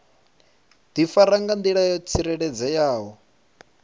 difara nga ndila yo tsireledzeaho